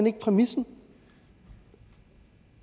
ikke præmissen